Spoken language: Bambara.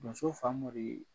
Donso Famori